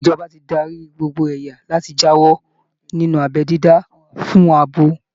Ìjọba ti darí gbogbo ẹ̀yà láti jáwọ́ nínú abẹ́ dídá fún abo